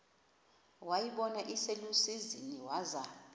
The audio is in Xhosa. wayibona iselusizini waza